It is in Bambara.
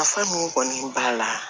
Nafa mun kɔni b'a la